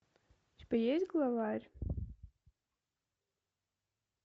у тебя есть главарь